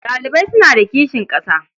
Ɗalibai suna da kishin ƙasa.